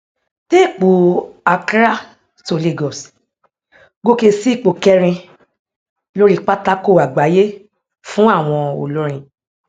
téèpù accrá to lagos gòkè sí ipò kẹrin lóri pátákó àgbáyé fún àwọn olórin